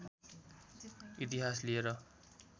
इतिहास लिएर